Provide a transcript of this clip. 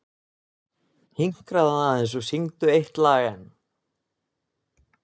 Hinkraðu aðeins og syngdu eitt lag enn.